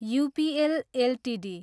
UPL Ltd